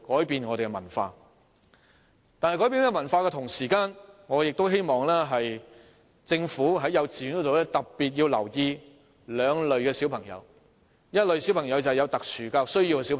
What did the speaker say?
然而，在改變這文化的同時，我亦希望政府在幼稚園教育方面特別留意兩類小朋友，其中一類是有特殊教育需要的小朋友。